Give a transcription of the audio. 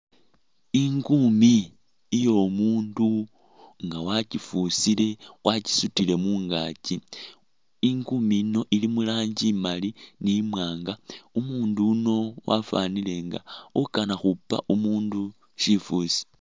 Ingumi iyo mundu nga wakyifusile wakyisutile mungakyi ingumi ino ili muranji imali ni mwanga umundu uwuno afwanile ukanakhupa umundu shifusi .